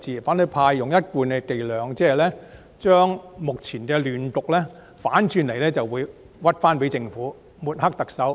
反對派用一貫的伎倆，反過來將目前的亂局歸咎於政府，更誣衊政府、抹黑特首。